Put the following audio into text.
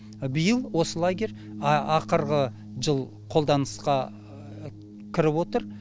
биыл осы лагерь ақырғы жыл қолданысқа кіріп отыр